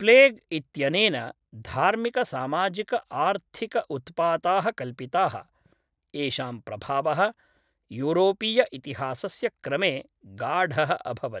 Plague इत्यनेन धार्मिकसामाजिक आर्थिक उत्पाताः कल्पिताः, येषां प्रभावः यूरोपीय इतिहासस्य क्रमे गाढः अभवत्।